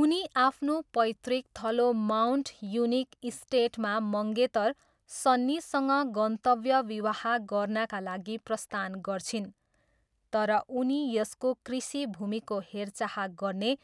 उनी आफ्नो पैतृक थलो माउन्ट युनिक इस्टेटमा मङ्गेतर सन्नीसँग गन्तव्य विवाह गर्नाका लागि प्रस्थान गर्छिन्, तर उनी यसको कृषि भूमिको हेरचाह गर्ने